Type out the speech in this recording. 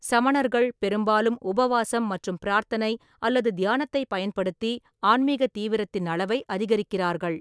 சமணர்கள் பெரும்பாலும் உபவாசம் மற்றும் பிரார்த்தனை அல்லது தியானத்தைப் பயன்படுத்தி ஆன்மீக தீவிரத்தின் அளவை அதிகரிக்கிறார்கள்.